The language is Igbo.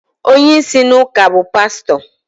onye isi n’ụka bụ pastọ